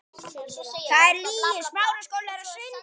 Það er lygi!